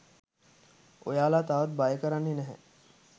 ඔයාලව තවත් බය කරන්නෙ නැහැ